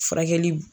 Furakɛli